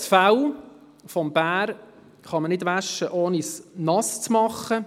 Das Fell des Bären kann nicht gewaschen werden, ohne es nass zu machen.